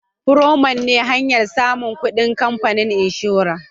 " premium " ne hanyan samun kudin kamfanin inshora